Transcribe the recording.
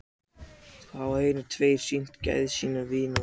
Hafa hinir tveir sýnt gæði sín með því að vinna titil?